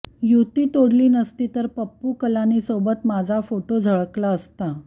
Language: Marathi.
युती तोडली नसती तर पप्पू कलानीसोबत माझा फोटो झळकला असता